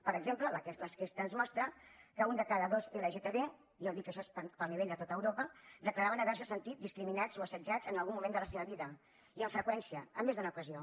per exemple l’enquesta ens mostra que un de cada dos lgtb ja ho dic això és a nivell de tot europa declaraven haverse sentit discriminats o assetjats en algun moment de la seva vida i amb freqüència en més d’una ocasió